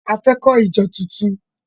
A fẹ́ kọ́ ìjọ tuntun.